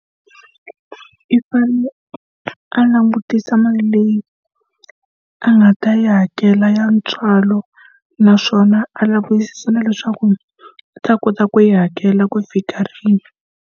I fanele a langutisa mali leyi a nga ta yi hakela ya ntswalo, naswona a lavisisa na leswaku a ta kota ku yi hakela ku fika rini.